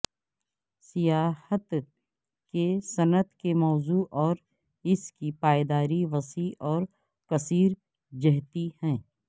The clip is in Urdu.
سیاحت کی صنعت کے موضوع اور اس کی پائیداری وسیع اور کثیر جہتی ہے